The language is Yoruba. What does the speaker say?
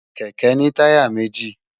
Kèkè ni tàyá méji